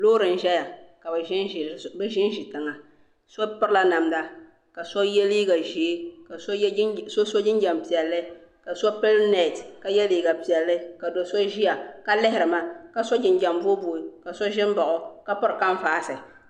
Loori n-zaya ka bɛ ʒinʒi tiŋa. So pirila namda ka so ye liiga ʒee ka so so jinjam piɛlli ka so pili neeti ka ye liiga piɛlli ka do' so ʒia ka lihiri ma ka so jinjam boobooi ka so ʒi m-baɣi ka piri kanvaasi.